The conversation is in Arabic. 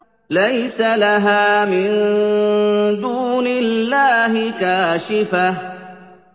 لَيْسَ لَهَا مِن دُونِ اللَّهِ كَاشِفَةٌ